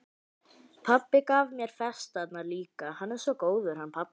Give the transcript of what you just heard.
Pabbi gaf mér festarnar líka, hann er svo góður, hann pabbi.